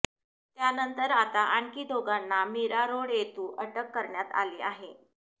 त्यानंतर आता आणखी दोघांना मीरा रोड येथू अटक करण्यात आली आहे